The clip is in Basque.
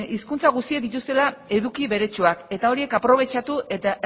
hizkuntza guztiek dituztela eduki bertsuak eta horiek aprobetxatu eta